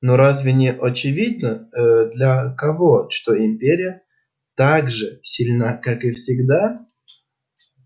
но разве не очевидно ээ для кого что империя так же сильна как и всегда